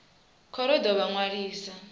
khoro i ḓo vha ṅwalisa